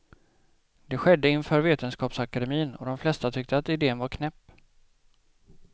Det skedde inför vetenskapsakademin och de flesta tyckte att idén var knäpp.